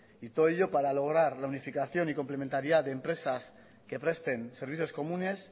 y todo ello para lograr la unificación y complementariedad de empresas que presten servicios comunes